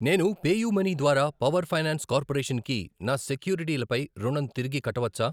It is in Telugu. నేను పేయూమనీ ద్వారా పవర్ ఫైనాన్స్ కార్పొరేషన్ కి నా సెక్యూరిటీలపై రుణం తిరిగి కట్టవచ్చా?